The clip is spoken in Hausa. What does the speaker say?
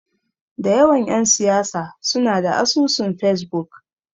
Da yawan ƴan siyasa suna da asusun Fesbuk.